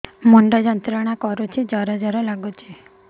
ମୁଣ୍ଡ ଯନ୍ତ୍ରଣା କରୁଛି ଜର ଜର ଲାଗୁଛି